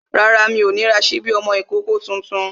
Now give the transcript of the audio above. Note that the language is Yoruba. Rárá, mi ò ní ra sípí ọmọ ìkókó tuntun